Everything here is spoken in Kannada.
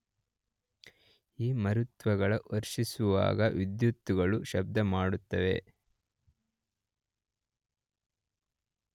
ಈ ಮರುತ್ತುಗಳು ವರ್ಷಿಸುವಾಗ ವಿದ್ಯುತ್ತುಗಳು ಶಬ್ದ ಮಾಡುತ್ತವೆ.